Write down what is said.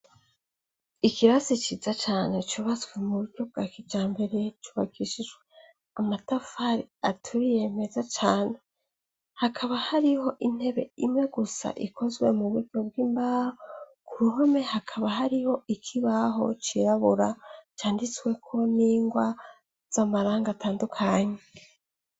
Ikirasi ciza cane cubatswe mu buryo bwa kija mbere cubakishijwe amatafari aturiiyemeza cane hakaba hariho intebe imwe gusa ikozwe mu buryo bw'imbaho ku ruhome hakaba hariho ikibaho cirabura canditsweko n'ingwa z’amaranga atandukanye.